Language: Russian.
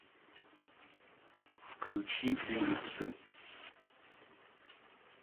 включи улицы